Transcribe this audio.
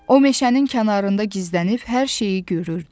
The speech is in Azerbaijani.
O meşənin kənarında gizlənib hər şeyi görürdü.